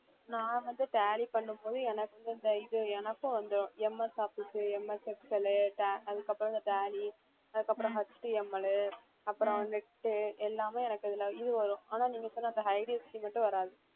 நான் வந்து tally பண்ணும் போது எனக்கு அந்த இது எனக்கும் வந்துடும் MS office உ MS excel உ ta~ அதுக்கப்புறம் இந்த tally அதுக்கப்புறம் HTML உ அப்புறம் எல்லாமே இது வரும் ஆனா நீங்க சொன்ன அந்த IDFC மட்டும் வராது